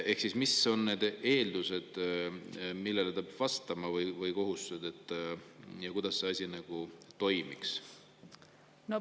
Ehk mis on need eeldused, millele ta peab vastama, või kohustused ja kuidas see asi toimiks?